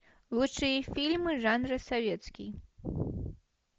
лучшие фильмы жанра советский